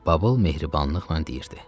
Babıl mehribanlıqla deyirdi: